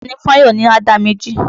Tọ́lání fún Àyọ̀ ní àdá méjì